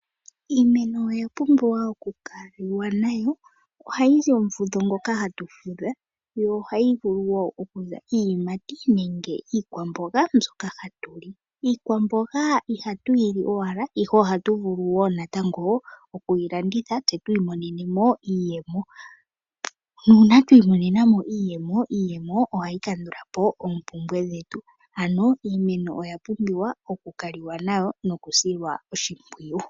Iimeno oya pumbiwa oku kaliwa nayo, ohayi zi omufudho ngoka hatu fudha, yo ohayi vulu wo okuza iiyimati nenge iikwamboga mbyoka hatu li. Iikwamboga ihatu yili owala, ihe ohatu vulu wo natango oku yi landitha tse tu imonene mo iiyemo. Nuuna twi imonena mo iiyemo, iiyemo ohayi kandula po oompumbwe dhetu. Ano iimeno oya pumbiwa oku kaliwa nayo noku silwa oshimpwiyu.